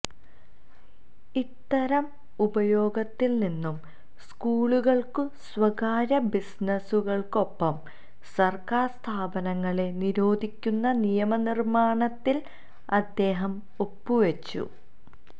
ഇത്തരം ഉപയോഗത്തില് നിന്നും സ്കൂളുകള്ക്കും സ്വകാര്യ ബിസിനസുകള്ക്കുമൊപ്പം സര്ക്കാര് സ്ഥാപനങ്ങളെ നിരോധിക്കുന്ന നിയമനിര്മ്മാണത്തില് അദ്ദേഹം ഒപ്പു വച്ചു